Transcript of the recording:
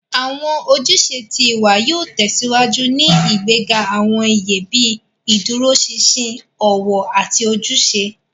Awọn ojúṣe tí ìwà yóò tèsíwájú ní ìgbéga awọn iye bii ìdúróṣinṣin, ọwọ, àti ojúṣe.